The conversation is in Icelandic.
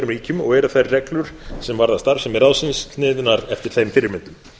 ríkjum og eru þær reglur sem varða starfsemi ráðsins sniðnar eftir þeim fyrirmyndum